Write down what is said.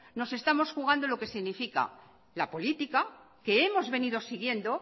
nos estamos jugando lo que significa la política que hemos venido siguiendo